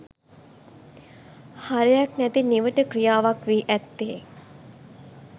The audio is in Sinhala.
හරයක් නැති නිවට ක්‍රියාවක් වී ඇත්තේ